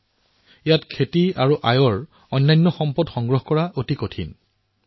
এনে অৱস্থাত ইয়াত খেতিবাতি আৰু আয়ৰ অন্য সংসাধনৰ ব্যৱস্থা কৰাটো সমস্যা হৈ পৰিছিল